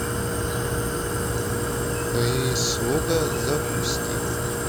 прислуга запусти